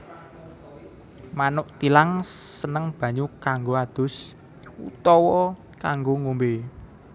Manuk thilang seneng banyu kanggo ados utawa kanggo ngombé